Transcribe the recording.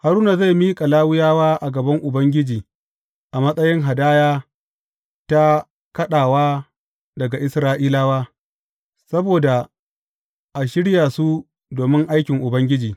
Haruna zai miƙa Lawiyawa a gaban Ubangiji a matsayin hadaya ta kaɗawa daga Isra’ilawa, saboda a shirya su domin aikin Ubangiji.